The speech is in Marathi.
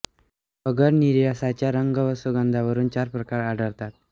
अगर निर्यासाच्या रंग व सुगंधावरून चार प्रकार आढळतात